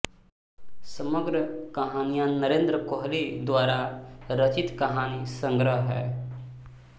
समग्र कहानियाँ नरेन्द्र कोहली द्वारा रचित कहानी संग्रह है